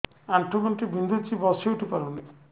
ଆଣ୍ଠୁ ଗଣ୍ଠି ବିନ୍ଧୁଛି ବସିଉଠି ପାରୁନି